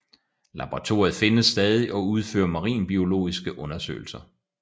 Laboratoriet findes stadig og udfører marinbiologiske undersøgelser